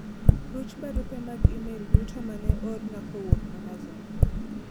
ruch barupe mag email duto mane oorna kowuok amazon